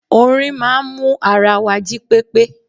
Orin máa n mú ara wa jí pépé